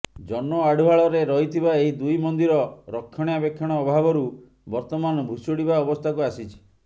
ଜନ ଆଢୁଆଳରେ ରହିଥିବା ଏହି ଦୁଇ ମନ୍ଦିର ରକ୍ଷଣାବେକ୍ଷଣ ଅଭାବରୁ ବର୍ତ୍ତମାନ ଭୁଶୁଡିବା ଅବସ୍ଥାକୁ ଆସିଛି